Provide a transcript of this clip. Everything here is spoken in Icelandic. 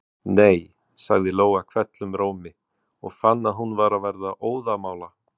Nei, sagði Lóa hvellum rómi og fann að hún var að verða óðamála.